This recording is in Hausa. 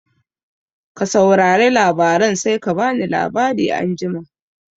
Ka saurare labaran sai ka bani labari anjima